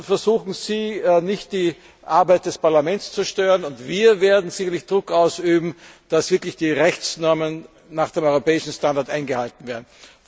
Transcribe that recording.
Versuchen Sie nicht, die Arbeit des Parlaments zu stören, und wir werden sicherlich Druck ausüben, dass die Rechtsnormen nach dem europäischen Standard eingehalten werden.